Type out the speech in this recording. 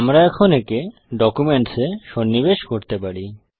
আমরা এখন একে ডকুমেন্টস এ সন্নিবেশ করতে পারি